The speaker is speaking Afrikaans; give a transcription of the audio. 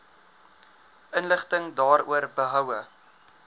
inligting daaroor behoue